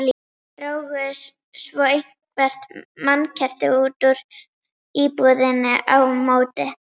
Drógu svo eitthvert mannkerti út úr íbúðinni á móti.